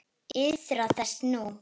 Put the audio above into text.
Iðrast þess nú.